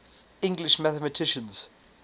english mathematicians